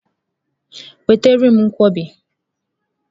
Nwetara m Nkwobi!